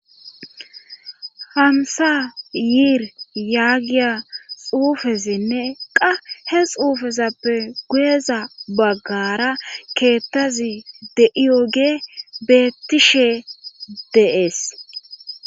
hamsa yiir yaagiya xuufezinne qa he xuufezappe guyeza baggara keettazi deiyoge bettishe de7ees